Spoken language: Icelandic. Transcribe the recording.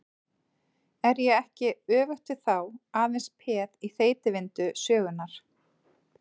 Er ég ekki, öfugt við þá, aðeins peð í þeytivindu sögunnar?